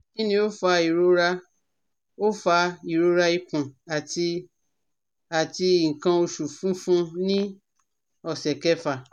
Kini o fa irora o fa irora ikun ati ati ikan osu funfun ni ose kefa?